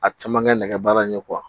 A caman kɛ nɛgɛ baara in ye